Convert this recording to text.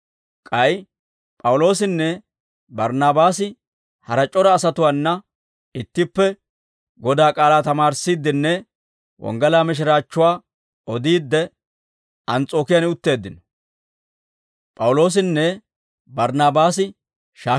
K'ay P'awuloosinne Barnaabaasi hara c'ora asatuwaana ittippe Godaa k'aalaa tamaarissiiddenne wonggalaa mishiraachchuwaa odiidde, Ans's'ookiyaan utteeddino.